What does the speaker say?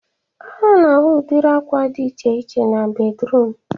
A na-ahụ udiri akwa dị iche iche na bedruum